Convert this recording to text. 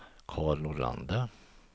Carl Nordlander